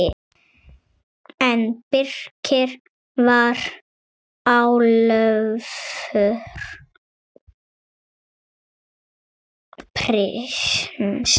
En Birkir var alvöru prins.